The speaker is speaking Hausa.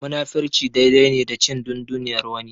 Munafurci dai dai ne da cin dunduniyar wani.